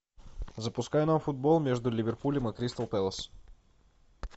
запускай нам футбол между ливерпулем и кристал пэлас